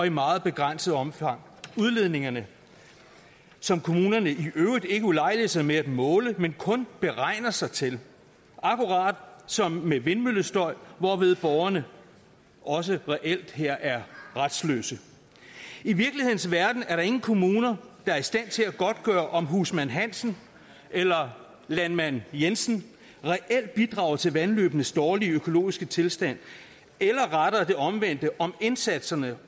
i meget begrænset omfang udledningerne som kommunerne i øvrigt ikke ulejliger sig med at måle men kun beregner sig til akkurat som med vindmøllestøj hvorved borgerne også reelt her er retsløse i virkelighedens verden er der ingen kommuner der er i stand til at godtgøre om husmand hansen eller landmand jensen reelt bidrager til vandløbenes dårlige økologiske tilstand eller omvendt om indsatserne